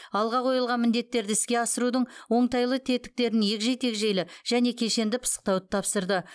алға қойылған міндеттерді іске асырудың оңтайлы тетіктерін егжей тегжейлі және кешенді пысықтауды тапсырды